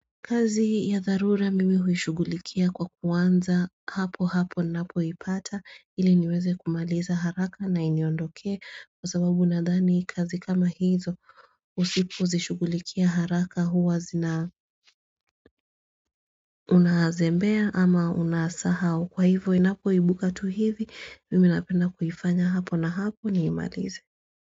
Kazi ya tharura mimi huishugulikia kwa kuwanza hapo hapo na hapo ipata ili niweze kumaliza haraka na inyondoke kwa sababu unadhani kazi kama hizo usipozishugulikia haraka huwa zina unazembea ama unasahao kwa hivyo inapo ibuka tu hivi mimi napenda kufanya hapo na hapo ni imalize.